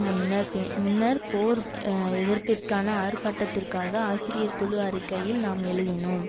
முன்னர் முன்னர் போர் எதிர்ப்பிற்கான ஆர்ப்பாட்டத்திற்காக ஆசிரியர் குழு அறிக்கையில் நாம் எழுதினோம்